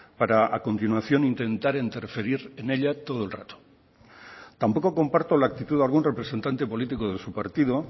para a continuación intentar interferir en ella todo el rato tampoco comparto la actitud de algún representante político de su partido